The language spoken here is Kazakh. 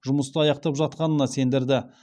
жұмысты аяқтап жатқанына сендірді